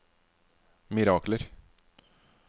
mirakler